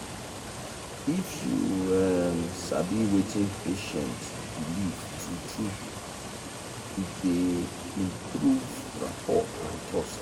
if you um sabi wetin patient belieftrue true it dey improve rapor and trust.